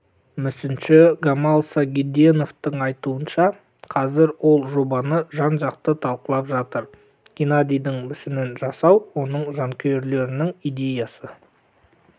мүсінші гамал сагиденовтің айтуынша қазір ол жобаны жан-жақты талқылап жатыр геннадийдің мүсінін жасау оның жанкүйерлерінің идеясы